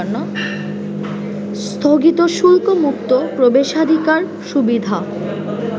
স্থগিত শুল্কমুক্ত প্রবেশাধিকার সুবিধা